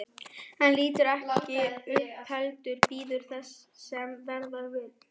Hann lítur ekki upp heldur bíður þess sem verða vill.